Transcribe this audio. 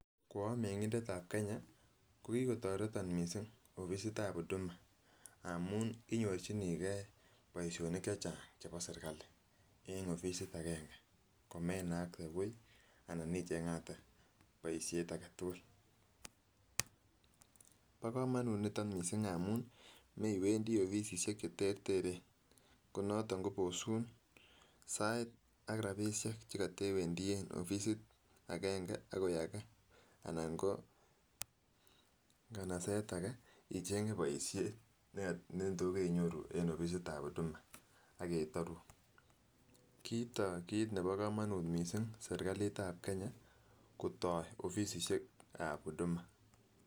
Ko omengindeb ab Kenya kokikotoretin missing offisit ab huduma amun inyorchinii gee boishonik chechang chebo serikali en offisit agenge akoi menakte buch anan ichengate boishet agetukul. Bo komonut niton missing amun moiwendii offisisiek chereteren konoton kobosun sait ak rabishek chekotewendii offisit agenge akoi age ana koo nkanaset age ichenge boishet nekatos keiyoruu en offisit ab huduma AK ketorun . Kitoo kit nebo komonut missing offisit ab Kenya kotoo offisit ab huduma.